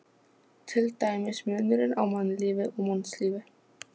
Til dæmis munurinn á mannlífi og mannslífi.